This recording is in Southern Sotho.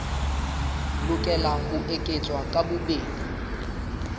lokela ho eketswa ka bobedi